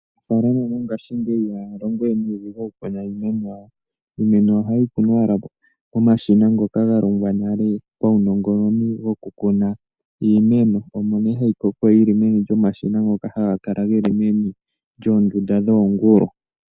Aanafaalama mongaashingeyi ihaya longowe nuudhigu okukuna iimeno yawo. Iimeno ohayi kunwa owala komashina ngoka galongwa nale pawunongononi gokukuna iimeno omo nee hayi koko momashina ngoka haga kala geli meni lyoondunda dhoongulu.